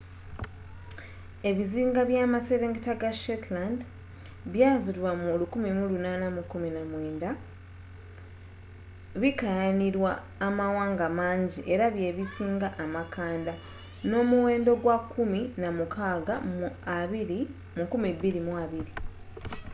ebizinga by'amaserengeta ga shetland byaazuulibwa mu 1819 bikaayanirwa amawanga manji era bye bisinga amakanda n'omuwendo gwa kumi na mukaaga mu 2020